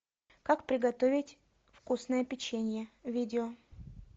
как приготовить вкусное печенье видео